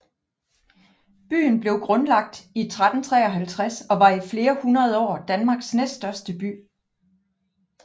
Byen blev grundlagt i 1353 og var i flere hundrede år Danmarks næststørste by